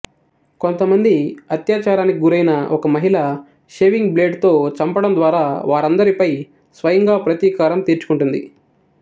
కొంతమంది అత్యాచారానికి గురైన ఒక మహిళ షేవింగ్ బ్లేడుతో చంపడం ద్వారా వారందరిపై స్వయంగా ప్రతీకారం తీర్చుకుంటుంది